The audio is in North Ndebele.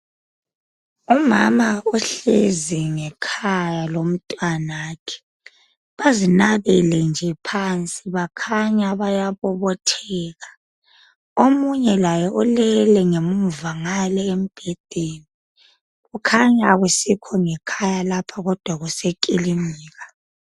Umama ohlezi ngekhaya lomntanakhe bazinabele nje phansi bakhanya bayabobotheka, omunye laye ulele ngemuva ngale embedeni kukhanya akusikho ngekhaya lapha kodwa kusekilinika.